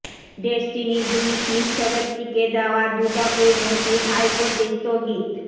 ডেসটিনির দুই শীর্ষ ব্যক্তিকে দেওয়া দুদকের নোটিশ হাইকোর্টে স্থগিত